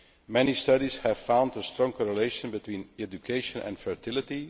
Many studies have found a strong correlation between education and fertility